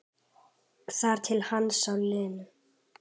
Þar til hann sá Lenu.